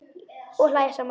Og hlæja saman.